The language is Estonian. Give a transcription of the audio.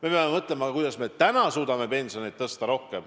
Me peame mõtlema, kuidas me suudame pensioni rohkem tõsta.